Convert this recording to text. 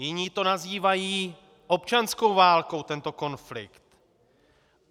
Jiní to nazývají občanskou válkou, tento konflikt.